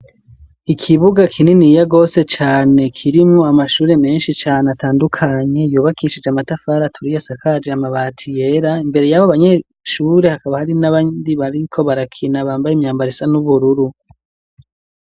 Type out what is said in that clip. Ikibuga kininiya rwose cane kirimwo amashure menshi cane atandukanye yubakishije amatafara aturiya asakaje amabati yera imbere yabo banyeshure hakaba hari nabandi bariko barakina bambaye imyambara isa n'ubururu.